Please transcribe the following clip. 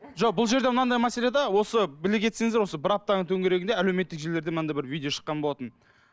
жоқ бұл жерде мынандай мәселе де осы біле кетсеңіздер осы бір аптаның төңірегінде әлеуметтік желілерде мынандай бір видео шыққан болатын